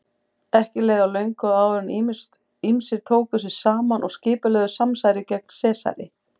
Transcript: Ekki leið á löngu áður en ýmsir tóku sig saman og skipulögðu samsæri gegn Sesari.